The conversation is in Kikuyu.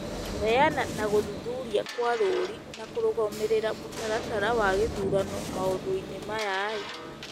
kũheana na gũthuthuria kwa rũũri na kũrũgamĩrĩra mũtaratara wa gĩthurano maũndũ-inĩ maya,